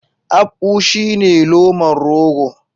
Akpu shine loman rogo.